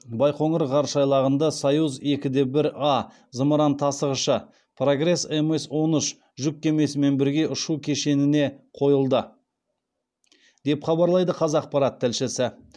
байқоңыр ғарыш айлағында союз екі де бір а зымыран тасығышы прогресс мс он үш жүк кемесімен бірге ұшу кешеніне қойылды деп хабарлайды қазақпарат тілшісі